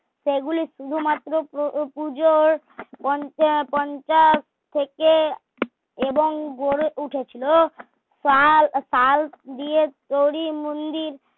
সেগুলি শুধুমাত্র পু পুজোর পঞ্চা পঞ্চাশ থেকে এবং গড়ে উঠেছিল শাল শাল দিয়ে তৈরী মন্দির